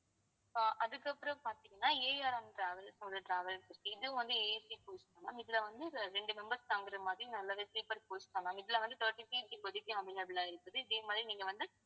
ஆஹ் அதுக்கப்புறம் பார்த்தீங்கன்னா ARMtravels ஓட travels இது வந்து AC coach ma'am இதுல வந்து இரண்டு members தாங்குற மாதிரி நல்லாவே sleeper coach தான் ma'am இதுல வந்து thity seats இப்போதைக்கு available ஆ இருக்குது இதே மாதிரி நீங்க வந்து